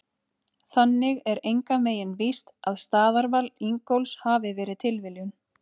Þannig er engan veginn víst að staðarval Ingólfs hafi verið tilviljun!